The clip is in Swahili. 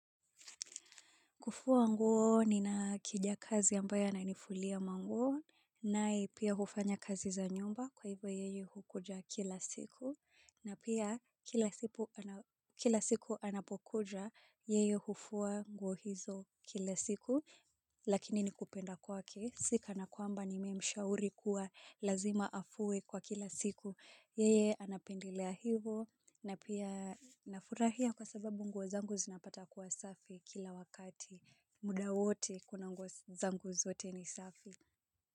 Kufua nguo nina kijakazi ambaye ananifulia manguo ninaye pia hufanya kazi za nyumba kwa hivyo yeye hukuja kila siku. Na pia kila siku anapokuja yeye hufua nguo hizo kila siku lakini ni kupenda kwake sikana kwamba nimemshauri kuwa lazima afue kwa kila siku. Yeye anapendelea hivo na pia nafurahia kwa sababu nguo zangu zinapata kuwa safi kila wakati muda wote kuna nguo zangu zote ni safi.